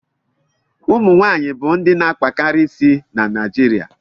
ụmụ nwaanyị bụ ndị na akpakarị isi na Naijirịa